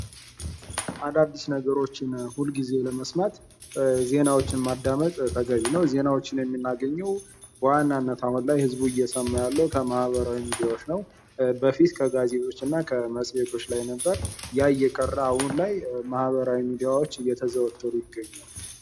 አዳዲስ ነገሮችን ሁልጊዜ ለመስማት ዜናዎችን ማዳመጥ ተገቢ ነው። ዜናዎችን የምናገኘው በዋናነት ዝቡ እየሰማ ያለው ከማህበራዊ ሚዲያዎች ነው። በፊት ከጋዜጦች እና ከመጽሄቶች ላይ ነበር። ያ እየቀረ አሁን ላይ ማህበራዊ ሚዲያዎች እየተዘወተሩ ይገኛሉ።